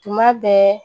Tuma bɛɛ